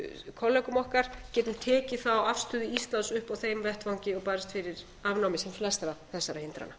kollegum okkar geti tekið þá afstöðu íslands upp á þeim vettvangi og barist fyrir afnámi sem flestra þessara hindrana